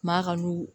Maa ka n'u